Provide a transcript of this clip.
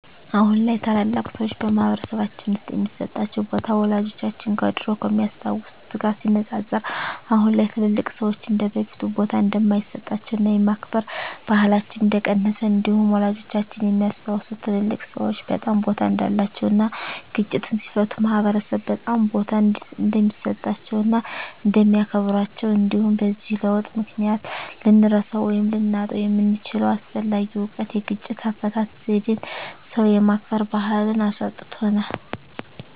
አሁን ላይ ታላላቅ ሰዎች በማህበረሰልባችን ውስጥ የሚሰጣቸው ቦታ ወላጆቻችን ከድሮው ከሚያስታውት ጋር ሲነፃፀር አሁን ላይ ትልልቅ ሰዎች እንደበፊቱ ቦታ እንደማይሰጣቸውና የማክበር ባህላችን እንደቀነሰ እንዲሁም ወላጆቻችን የሚያስታውሱት ትልልቅ ሰዎች በጣም ቦታ እንዳላቸው እና ግጭትን ሲፈቱ ማህበረሰብ በጣም ቦታ እንደሚሰጣቸው እና እንደሚያከብራቸው እንዲሁም በዚህ ለውጥ ምክንያት ልንረሳው ወይም ልናጣው የምንችለው አስፈላጊ እውቀት የግጭት አፈታት ዜዴን ሰው የማክበር ባህልን አሳጥቶናል።